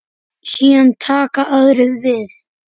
Síðan taka aðrir við.